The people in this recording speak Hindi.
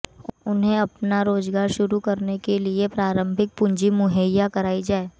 उन्हें अपना रोजगार शुरू करने के लिए प्रारंभिक पूंजी मुहैया कराई जाए